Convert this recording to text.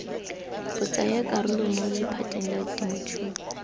botsayakarolo mo lephateng la temothuo